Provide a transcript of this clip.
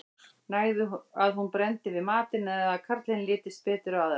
nægði að hún brenndi við matinn eða að karlinum litist betur á aðra